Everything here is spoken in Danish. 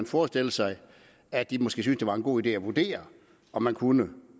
forestille sig at de måske selv syntes det var en god idé at vurdere om man kunne